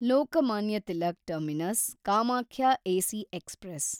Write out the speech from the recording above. Lokmanya Tilak terminus Kamakhya AC express